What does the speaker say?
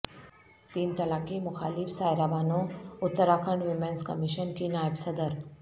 تین طلاق کی مخالف شائرہ بانو اتراکھنڈ ویمنس کمیشن کی نائب صدر